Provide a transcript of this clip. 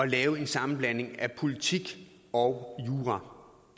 lave en sammenblanding af politik og jura